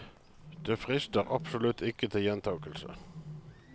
Det frister absolutt ikke til gjentagelse.